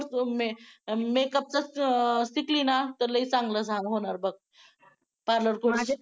mekup चा शिकली न लय चंगला होणार बग